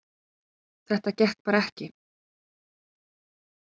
Þetta gekk bara ekki